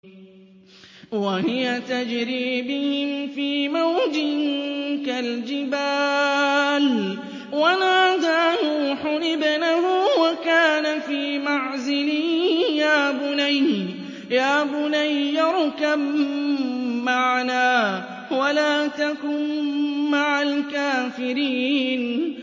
وَهِيَ تَجْرِي بِهِمْ فِي مَوْجٍ كَالْجِبَالِ وَنَادَىٰ نُوحٌ ابْنَهُ وَكَانَ فِي مَعْزِلٍ يَا بُنَيَّ ارْكَب مَّعَنَا وَلَا تَكُن مَّعَ الْكَافِرِينَ